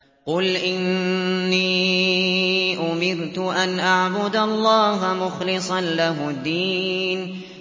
قُلْ إِنِّي أُمِرْتُ أَنْ أَعْبُدَ اللَّهَ مُخْلِصًا لَّهُ الدِّينَ